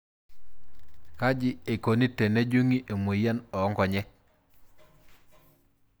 Kajieikoni tenejungi emoyian onkonyek?